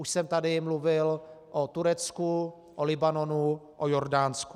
Už jsem tady mluvil o Turecku, o Libanonu, o Jordánsku.